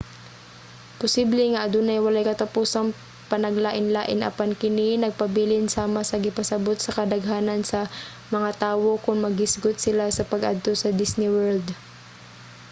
posible nga adunay walay katapusang panaglain-lain apan kini nagpabilin sama sa gipasabot sa kadaghanan sa mga tawo kon maghisgot sila sa pag-adto sa disney world